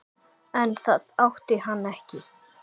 En það átti hann ekki.